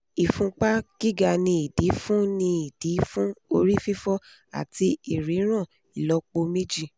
ifunpa giga ni idi fun ni idi fun ori fifo ati iriran ilopo meji